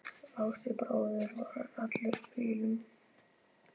Lási bróðir var allur í bílum.